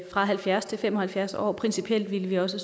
halvfjerds til fem og halvfjerds år principielt ville vi også